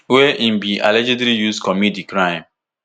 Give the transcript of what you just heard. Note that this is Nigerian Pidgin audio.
wey im bin allegedly use commit di crime